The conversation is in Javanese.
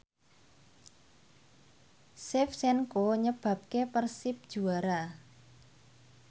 Shevchenko nyebabke Persib juara